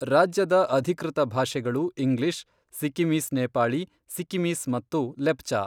ರಾಜ್ಯದ ಅಧಿಕೃತ ಭಾಷೆಗಳು ಇಂಗ್ಲಿಷ್, ಸಿಕ್ಕಿಮೀಸ್ ನೇಪಾಳಿ, ಸಿಕ್ಕಿಮೀಸ್ ಮತ್ತು ಲೆಪ್ಚಾ.